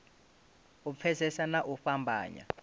u pfesesa na u fhambanya